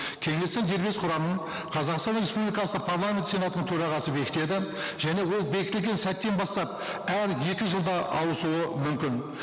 кеңестің дербес құрамын қазақстан республикасы парламент сенатының төрағасы бекітеді және ол бекітілген сәттен бастап әр екі жылда ауысуы мүмкін